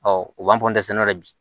u b'an bi